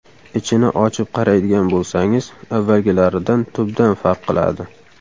Ichini ochib qaraydigan bo‘lsangiz, avvalgilaridan tubdan farq qiladi.